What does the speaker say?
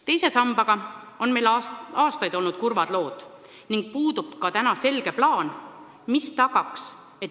Teise sambaga on meil aastaid olnud kurvad lood ning puudub ka praegu selge plaan, kuidas edasi.